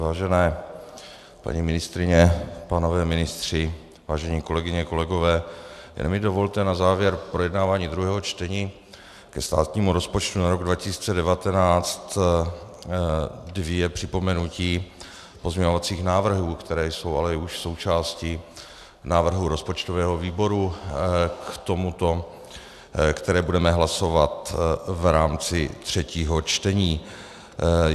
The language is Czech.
Vážené paní ministryně, pánové ministři, vážené kolegyně, kolegové, jenom mi dovolte na závěr projednávání druhého čtení ke státnímu rozpočtu na rok 2019 dvě připomenutí pozměňovacích návrhů, které jsou ale už součástí návrhu rozpočtového výboru k tomuto, které budeme hlasovat v rámci třetího čtení.